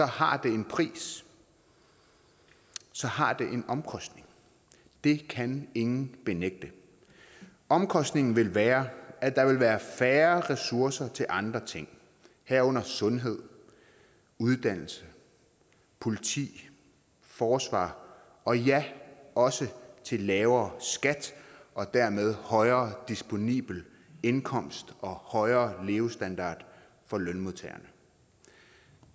har det en pris så har det en omkostning det kan ingen benægte omkostningen vil være at der vil være færre ressourcer til andre ting herunder sundhed uddannelse politi forsvar og ja også til lavere skat og dermed højere disponibel indkomst og højere levestandard for lønmodtagerne